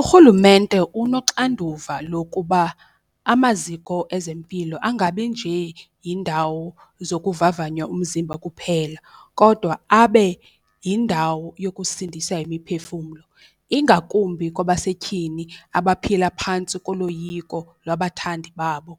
Urhulumente unoxanduva lokuba amaziko ezempilo angabi nje yindawo zokuvavanya umzimba kuphela kodwa abe yindawo yokusindisa imiphefumlo, ingakumbi kwabasetyhini abaphila phantsi koloyiko lwabathandi babo.